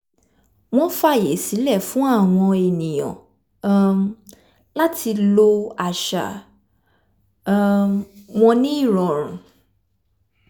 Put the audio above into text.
wọ́n fàyè sílẹ̀ fún àwọn ènìyàn um láti lo àṣà um wọn ní ìrọ̀rùn